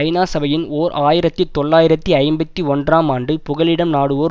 ஐநா சபையின் ஓர் ஆயிரத்தி தொள்ளாயிரத்தி ஐம்பத்தி ஒன்றாம் ஆண்டு புகலிடம் நாடுவோர்